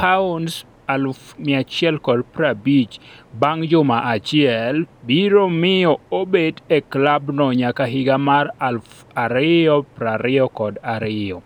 €150,000 bang’ juma achiel. biro miyo obed e klabno nyaka higa mar 2022.